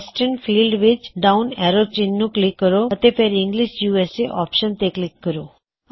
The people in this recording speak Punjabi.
ਵੈਸਟ੍ਰਨ ਫ਼ੀਲਡ ਵਿੱਚ ਦਿੱਤੇ ਡਾਉਨ ਐਰੋ ਚਿੰਨ੍ਹ ਨੂੰ ਕਲਿੱਕ ਕਰੋ ਅਤੇ ਫੇਰ ਇੰਗਲਿਸ਼ ਯੂਐਸਏ ਆਪਸ਼ਨ ਤੇ ਕਲਿੱਕ ਕਰੋ